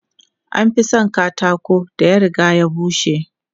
An fi son katakon da ya riga ya bushe.